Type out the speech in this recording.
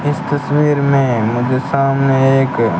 इस तस्वीर में मुझे सामने एक--